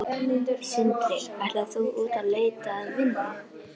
Sindri: Ætlar þú út að leita að vinnu?